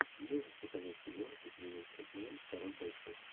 можешь показать кино с джином хэкменом король бойцов